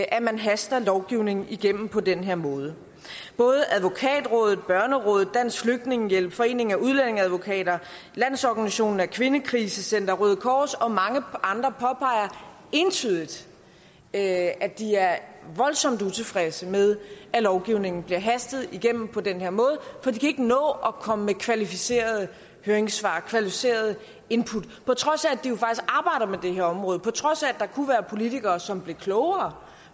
at man haster en lovgivning igennem på den her måde både advokatrådet børnerådet dansk flygtningehjælp foreningen af udlændingeadvokater landsorganisationen af kvindekrisecentre røde kors og mange andre påpeger entydigt at at de er voldsomt utilfredse med at lovgivningen bliver hastet igennem på den her måde for de kan ikke nå at komme med kvalificerede høringssvar kvalificerede input på trods af at med det her område på trods af at der kunne være politikere som blev klogere